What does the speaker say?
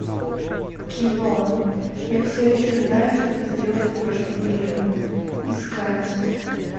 кино я все еще знаю что вы сделали прошлым летом искать